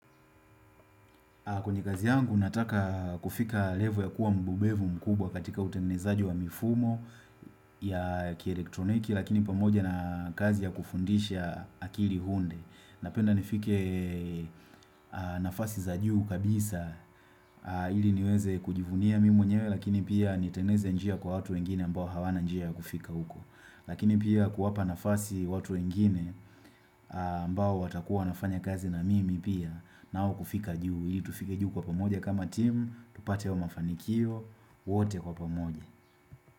Kwenye kazi yangu nataka kufika level ya kuwa mbobevu mkubwa katika utengenezaji wa mifumo ya kielektroniki lakini pamoja na kazi ya kufundisha akili hunde. Napenda nifike nafasi za juu kabisa ili niweze kujivunia mimi mwenyewe lakini pia nitengeneze njia kwa watu wengine ambao hawana njia ya kufika uko. Lakini pia kuwapa nafasi watu wengine ambao watakuwa wanafanya kazi na mimi pia nao kufika juu ili tufike juu kwa pamoja kama team tupate hayo mafanikio wote kwa pamoja.